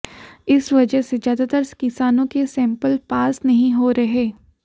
इस वजह से ज्यादातर किसानों के सैंपल पास नहीं हो रहे